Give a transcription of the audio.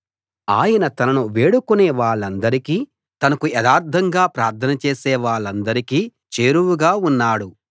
ఆయన తనను వేడుకునే వాళ్ళందరికీ తనకు యథార్ధంగా ప్రార్థన చేసే వాళ్ళందరికీ చేరువగా ఉన్నాడు